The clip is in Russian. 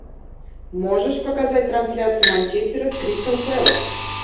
можешь показать трансляцию манчестера с кристал пэлас